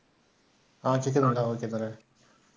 அஹ் .